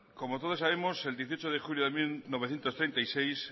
como todos sabemos el dieciocho de julio mil novecientos treinta y seis